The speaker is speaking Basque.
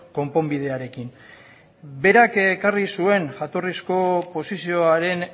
konponbidearekin berak ekarri zuen jatorrizko posizioaren